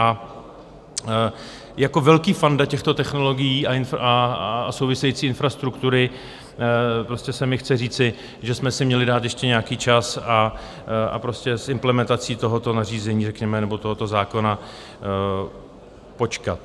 A jako velký fanda těchto technologií a související infrastruktury prostě se mi chce říci, že jsme si měli dát ještě nějaký čas a prostě s implementací tohoto nařízení řekněme nebo tohoto zákona počkat.